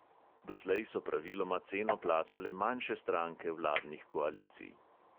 Doslej so praviloma ceno plačale manjše stranke vladnih koalicij.